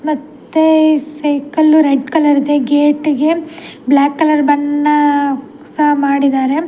ಮತ್ತೆ cycle red colour ಇದೆ ಗೇಟಿಗೆ ಬ್ಲಾಕ್‌ ಕಲರ್‌ ಬಣ್ಣ ಸ ಮಾಡಿದ್ದಾರೆ.